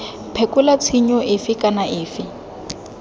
phekola tshenyo efe kana efe